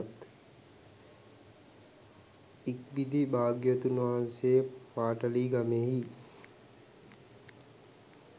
ඉක්බිති භාග්‍යවතුන් වහන්සේ පාටලීගමෙහි